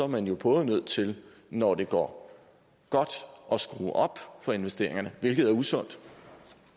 man jo både nødt til når det går godt at skrue op for investeringerne hvilket er usundt